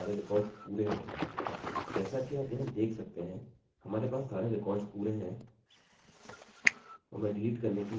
जैसा कि आप यहाँ देख सकते हैंहमारे पास सारे रिकार्डस पूरे हैं और मैं डिलीट करने के लिए एक विशिष्ट रिकार्ड चुनूँगा